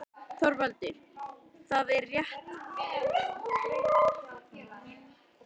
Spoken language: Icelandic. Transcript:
ÞORVALDUR: Það er rétt: þræðirnir sameinast í þessu húsi.